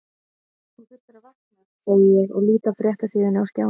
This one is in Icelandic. Þú þurftir að vakna, segi ég og lít af fréttasíðunni á skjánum.